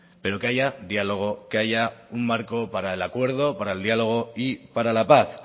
pero que haya diálogo que haya un marco para el acuerdo para el diálogo y para la paz